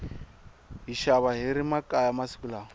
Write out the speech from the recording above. hi xava hiri makaya masiku lawa